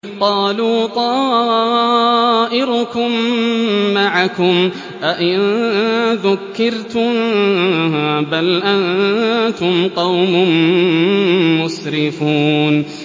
قَالُوا طَائِرُكُم مَّعَكُمْ ۚ أَئِن ذُكِّرْتُم ۚ بَلْ أَنتُمْ قَوْمٌ مُّسْرِفُونَ